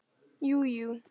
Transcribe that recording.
Jú, jú.